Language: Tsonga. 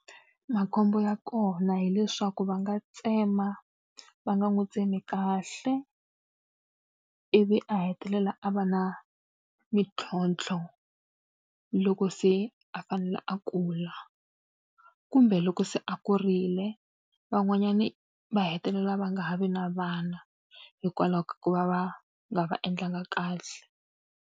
Makhombo ya kona hileswaku va nga tsema va nga n'wi tsemi kahle, ivi a hetelela a va na mintlhontlho loko se a fanele a kula. Kumbe loko se a kurile, van'wanyani va hetelela va nga ha vi na vana hikwalaho ka ku va va nga va endlanga kahle.